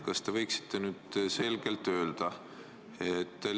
Kas te võiksite nüüd üht asja selgelt öelda?